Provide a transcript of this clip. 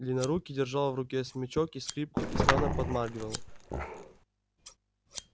длиннорукий держал в руке смычок и скрипку и странно подмаргивал